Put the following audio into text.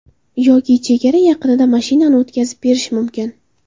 Yoki chegara yaqinida mashinani o‘tkazib berish mumkin.